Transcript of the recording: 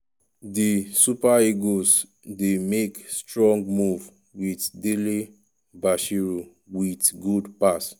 di super eagles dey make strong move wit dele-bashiru wit good pass.